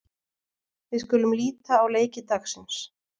Við skulum líta á leiki dagsins.